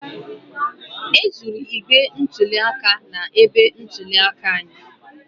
E zuru igbe ntụli aka na-ebe ntụli aka anyị